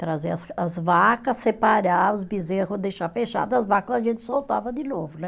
Trazer as as vacas, separar os bezerros, deixar fechado, as vacas a gente soltava de novo, né?